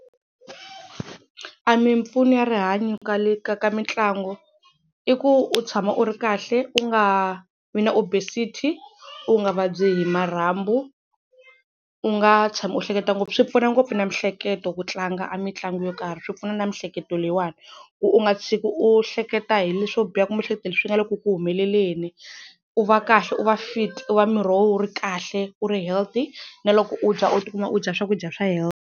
A mimpfuno ya rihanyo ka le ka ka mitlangu i ku u tshama u ri kahle u nga vi na obesity, u nga vabyi hi marhambu, u nga tshami u hleketa ngopfu swi pfuna ngopfu na miehleketo ku tlanga a mitlangu yo karhi swi pfuna na miehleketo leyiwani ku u nga tshiki u hleketa hi leswo biha kumbe u hleketa hi leswi nga le ku ku humeleleni. U va kahle, u va fit, u va miri wa wena wu ri kahle, u ri healthy na loko u dya u tikuma u dya swakudya swa .